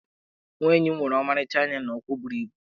Nwa enyi m nwere ọmarịcha anya na ụkwụ buru ibu.